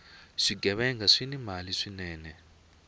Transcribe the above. swighevenga swini mali swinene